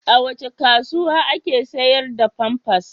A wace kasuwa ake sayar da famfas?